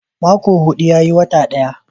Mako hudu yayi wata ɗaya